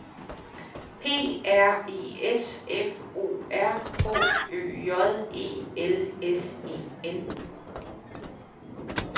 P R I S F O R H Ø J E L S E N